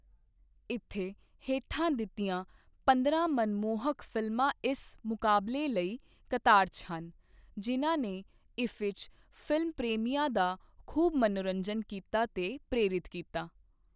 ਇੱਥੇ ਹੇਠਾਂ ਦਿੱਤੀਆਂ ਪੰਦਰਾਂ ਮਨਮੋਹਕ ਫ਼ਿਲਮਾਂ ਇਸ ਮੁਕਾਬਲੇ ਲਈ ਕਤਾਰ 'ਚ ਹਨ, ਜਿਨ੍ਹਾਂ ਨੇ ਇੱਫੀ 'ਚ ਫਿਲਮ ਪ੍ਰੇਮੀਆਂ ਦਾ ਖ਼ੂਬ ਮਨੋਰੰਜਨ ਕੀਤਾ ਤੇ ਪ੍ਰੇਰਿਤ ਕੀਤਾ।